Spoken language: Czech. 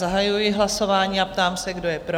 Zahajuji hlasování a ptám se, kdo je pro?